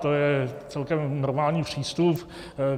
To je celkem normální přístup.